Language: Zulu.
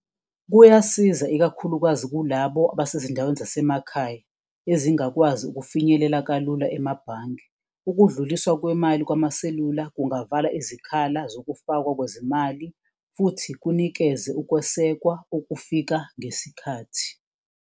Kuyasiza ikakhulukazi kulabo abasezindaweni zasemakhaya ezingakwazi ukufinyelela kalula emabhange, ukudluliswa kwemali kwamaselula kungavala izikhala zokufakwa kwezemali futhi kunikeze ukwesekwa okufika ngesikhathi.